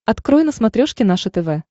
открой на смотрешке наше тв